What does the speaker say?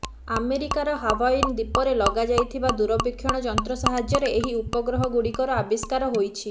ଆମେରିକାର ହାୱାଇନ ଦ୍ବୀପରେ ଲଗାଯାଇଥିବା ଦୂରବିକ୍ଷଣ ଯନ୍ତ୍ର ସାହାଯ୍ୟରେ ଏହି ଉପଗ୍ରହ ଗୁଡ଼ିକର ଆବିଷ୍କାର ହୋଇଛି